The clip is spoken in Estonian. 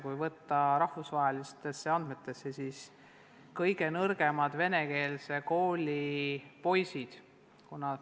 Kui võtta võrdluseks rahvusvahelised andmed, siis kõige nõrgemad on venekeelse kooli poisid.